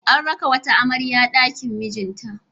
An raka wata amarya ɗakin mijinta.